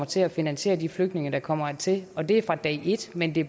til at finansiere de flygtninge der kommer hertil og det fra dag et men det